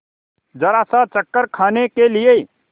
जरासा चक्कर खाने के लिए